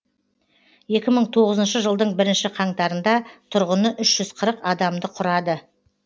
екі мың оғызыншы жылдың бірінші қаңтарында тұрғыны үш жүз қырық адамды құрады